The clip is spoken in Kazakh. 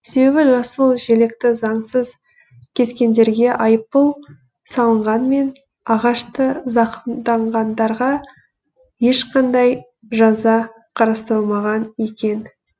себебі жасыл желекті заңсыз кескендерге айыппұл салынғанмен ағашты зақымданғандарға ешқандай жаза қарастырылмаған екен